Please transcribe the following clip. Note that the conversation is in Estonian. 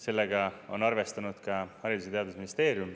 Sellega on arvestanud ka Haridus- ja Teadusministeerium.